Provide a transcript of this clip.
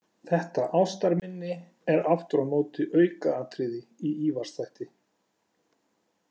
Þetta ástarminni er aftur á móti aukaatriði í Ívars þætti.